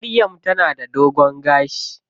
Maryam ta na da dogon gashi.